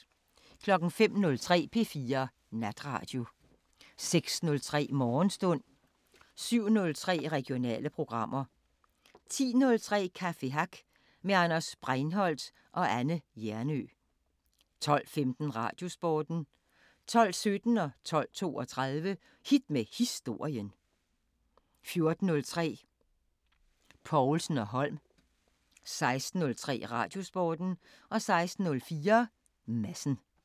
05:03: P4 Natradio 06:03: Morgenstund 07:03: Regionale programmer 10:03: Café Hack med Anders Breinholdt og Anne Hjernøe 12:15: Radiosporten 12:17: Hit med historien 12:32: Hit med historien 14:03: Povlsen & Holm 16:03: Radiosporten 16:04: Madsen